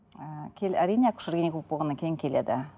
ііі әрине акушер гинеколог болғаннан кейін келеді